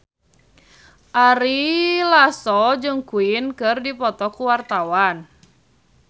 Ari Lasso jeung Queen keur dipoto ku wartawan